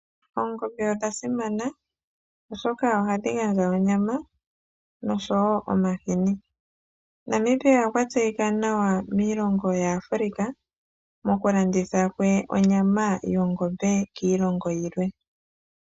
Oongombe odha simana oshoka ohadhi gandja onyama nosho woo omahini. Namibia okwa tseyika nawa miilongo yaAfrika moku landitha kwe onyama yongombe kiilongo yilwe.